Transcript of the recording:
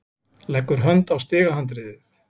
Leggur hönd á stigahandriðið.